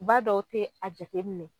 Ba dɔw te a jateminɛ